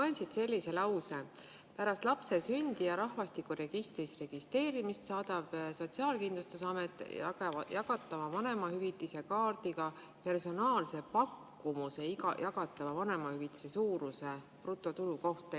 Loen siit sellise lause: "Pärast lapse sündi ja rahvastikuregistris registreerimist saadab SKA jagatava vanemahüvitise kaardiga personaalse pakkumuse jagatava vanemahüvitise suuruse kohta.